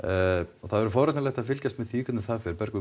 og það verður forvitnilegt að fylgjast með því hvernig það fer Bergur